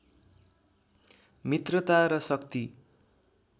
मित्रता र शक्ति